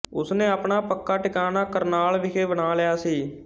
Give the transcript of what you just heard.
ਉਸਨੇ ਆਪਣਾ ਪੱਕਾ ਟਿਕਾਣਾ ਕਰਨਾਲ ਵਿਖੇ ਬਣਾ ਲਿਆ ਸੀ